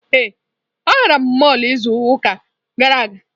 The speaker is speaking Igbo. Ee, agara m mọlụ izu ụka gara aga.